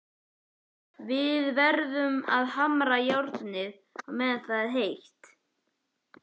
Við verðum að hamra járnið meðan það er heitt.